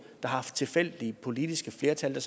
der har haft tilfældige politiske flertal